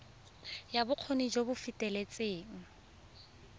ya bokgoni jo bo feteletseng